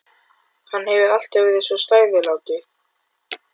Hann hefur alltaf verið svo stærilátur.